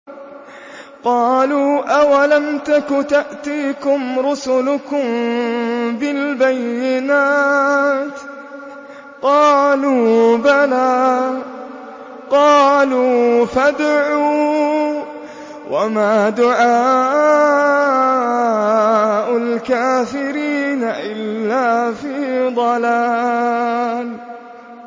قَالُوا أَوَلَمْ تَكُ تَأْتِيكُمْ رُسُلُكُم بِالْبَيِّنَاتِ ۖ قَالُوا بَلَىٰ ۚ قَالُوا فَادْعُوا ۗ وَمَا دُعَاءُ الْكَافِرِينَ إِلَّا فِي ضَلَالٍ